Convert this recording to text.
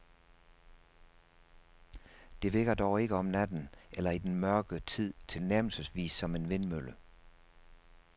Det virker dog ikke om natten eller i den mørke tid tilnærmelsesvis som en vindmølle.